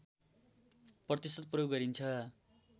प्रतिशत प्रयोग गरिन्छ